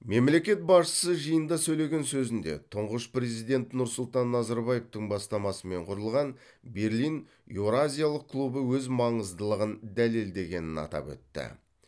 мемлекет басшысы жиында сөйлеген сөзінде тұңғыш президент нұрсұлтан назарбаевтың бастамасымен құрылған берлин еуразиялық клубы өз маңыздылығын дәлелдегенін атап өтті